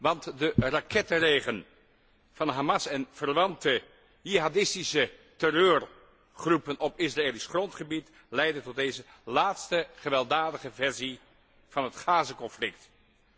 Want de rakettenregen van Hamas en verwante jihadistische terreurgroepen op Israëlisch grondgebied heeft tot deze laatste gewelddadige versie van het Gazaconflict geleid.